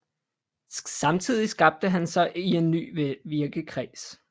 Samtidig skabte han sig en ny virkekreds